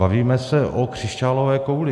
Bavíme se o křišťálové kouli.